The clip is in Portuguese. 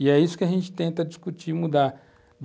E é isso que a gente tenta discutir, mudar.